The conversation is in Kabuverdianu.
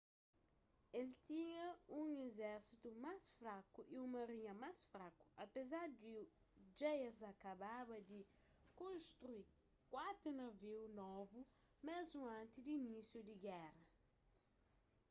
el tinha un izérsitu más fraku y un marinha más fraku apézar di dja es akababa di konstrui kuatu naviu novu mésmu antis di inísiu di géra